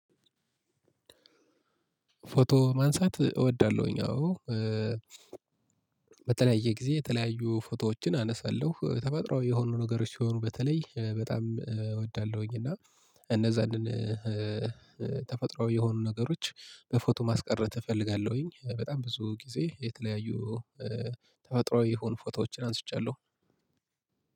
ፎቶ ማንሳት እወዳለሁኝ። አዎ በተለያየ ጊዜ የተለያዩ ፎቶዎችን አነሳለሁ። ተፈጥሮአዊ የሆኑ ነገሮች ሲሆኑ በተለይ በጣም እወዳለሁኝ። እና እነዛንን ተፈጥሮአዊ የሆኑ ነገሮች በፎቶ ማስቀረት እፈልጋለሁኝ። በጣም ብዙ ጊዜ የተለያዩ ተፈጥሮአዊ የሆኑ ፎቶዎችን አንስቻለሁ